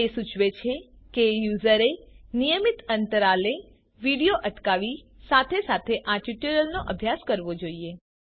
તે સૂચવે છે કે યુઝરે નિયમિત અંતરાલે વિડિઓ અટકાવી સાથે સાથે આ ટ્યુટોરીયલનો અભ્યાસ કરવો જોઈએ